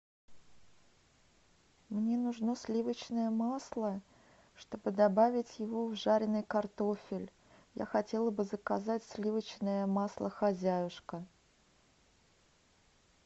мне нужно сливочное масло чтобы добавить его в жареный картофель я хотела бы заказать сливочное масло хозяюшка